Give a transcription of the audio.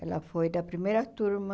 Ela foi da primeira turma